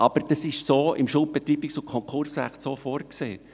Im Schuldbetreibungs- und Konkursrecht ist das so vorgesehen.